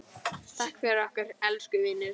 Takk fyrir okkur, elsku vinur.